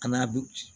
An n'a bɛ